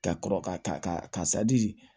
Ka kɔrɔ ka karisa ji